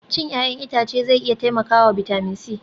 Cin 'ya'yan itace zai iya taimakawa bitamin C